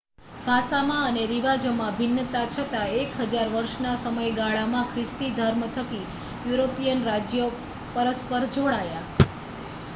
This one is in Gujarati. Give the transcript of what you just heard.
ભાષામાં અને રિવાજોમાં ભિન્નતા છતાં એક હજાર વર્ષના સમયગાળામાં ખ્રિસ્તી ધર્મ થકી યુરોપિયન રાજ્યો પરસ્પર જોડાયાં i